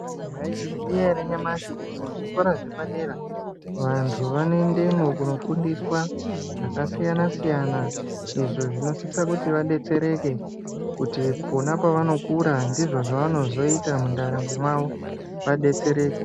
Mwaizviziya ere nyamashi kuti muzvikora zvepadera vantu vanoendemwo kunofundiswa zvakasiyana-siyana izvo zvinosisa kuti vadetsereke kuti pona pavanokura ndizvo zvavanozoita mundaramo mawo vadetsereke.